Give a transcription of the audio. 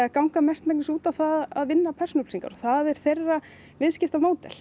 ganga mestmegnis út á það að vinna persónuupplýsingar það er þeirra viðskiptamódel